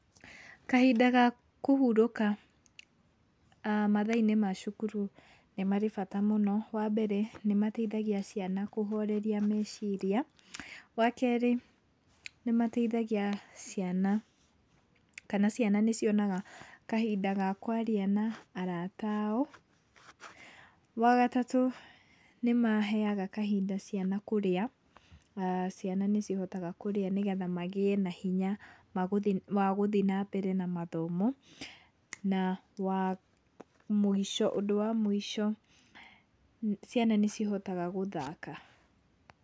Kahinda ga kũhurũka mathaa-inĩ ma cukuru nĩ marĩ bata mũno. Wambere nĩmateithagia ciana kũhoreria meciria. Wakerĩ, nĩmateithagia ciana kana ciana nĩcionaga kahinda ga kwaria na arata ao. Wagatatũ nĩmaheaga kahinda ciana kũrĩa, ciana nĩcihotaga kũrĩa nĩgetha magĩe na hinya wa gũthiĩ wa gũthiĩ na mbere na mathomo. Na, wa mũico ũndũ wa mũico ciana nĩcihotaga gũthaka.